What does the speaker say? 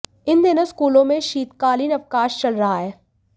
इन दिनों स्कूलों में शीतकालीन अवकाश चल रहा है